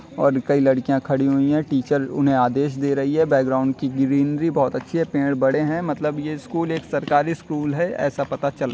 और कई लड़कियां खड़ी हुई हैं टीचर उन्हें आदेश दे रही है बैकग्राउंड की ग्रीनरी बहुत अच्छी है पेड़ बड़े हैं। मतलब ये स्कूल एक सरकारी स्कूल है। ऐसा पता चल --